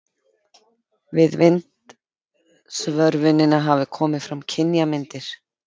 Við vindsvörfunina hafa komið fram kynjamyndir.